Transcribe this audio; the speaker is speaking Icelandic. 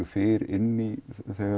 fyrr inn í þegar